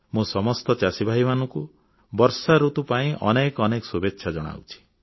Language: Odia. ମୁଁ ସମସ୍ତ ଚାଷୀଭାଇମାନଙ୍କୁ ଭଲ ବର୍ଷାଋତୁ ପାଇଁ ଅନେକ ଅନେକ ଶୁଭେଚ୍ଛା ଜଣାଉଛି